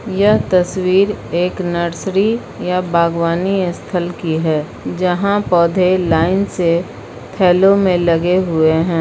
यह तस्वीर एक नर्सरी या बागवानी स्थल की है यहां पौधे लाइन से थैलों में लगे हुए हैं।